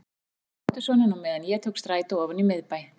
Hún passaði dóttursoninn á meðan ég tók strætó ofan í miðbæ.